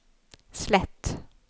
slett